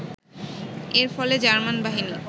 এর ফলে জার্মান বাহিনী